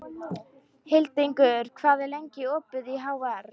Hildingur, hvað er lengi opið í HR?